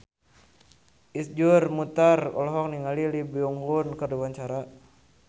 Iszur Muchtar olohok ningali Lee Byung Hun keur diwawancara